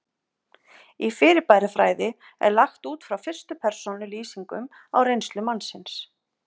Í fyrirbærafræði er lagt út frá fyrstu persónu lýsingum á reynslu mannsins.